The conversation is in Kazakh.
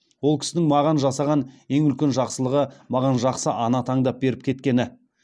ол кісінің маған жасаған ең үлкен жақсылығы маған жақсы ана таңдап беріп кеткені